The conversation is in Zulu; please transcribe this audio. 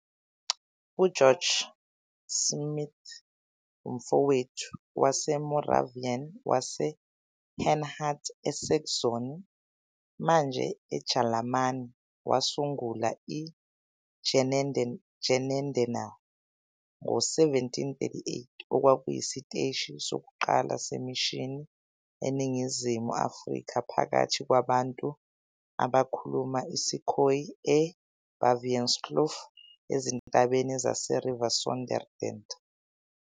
UGeorg Schmidt, uMfowethu waseMoravian waseHerrnhut, eSaxony, manje eJalimane, wasungula i-Genadendal ngo-1738, okwakuyisiteshi sokuqala semishini eNingizimu Afrika, phakathi kwabantu abakhuluma isiKhoe e-Baviaanskloof ezintabeni zase-Riviersonderend.